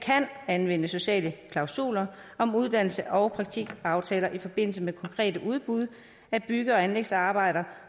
anvende sociale klausuler om uddannelses og praktikaftaler i forbindelse med konkrete udbud af bygge og anlægsarbejder